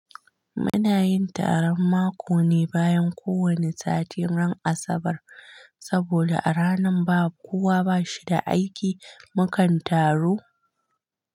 Mu na yin taron mako ne bayan ko wane satin ran Asabar. Saboda a ranan ba kowa ba shi da aiki mu kan taru.